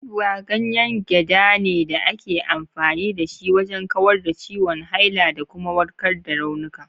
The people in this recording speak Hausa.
Ubwa ganyen gyada ne da ake amfani da shi wajen kawar da ciwon haila da kuma warkar da raunuka.